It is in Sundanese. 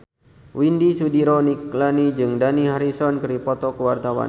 Widy Soediro Nichlany jeung Dani Harrison keur dipoto ku wartawan